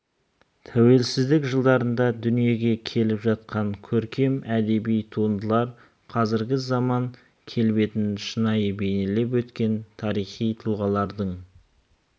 тәуелсіздік жылдарында дүниеге келіп жатқан көркем әдеби туындылар қазіргі заман келбетін шынайы бейнелеп өткен тарихи тұлғалардың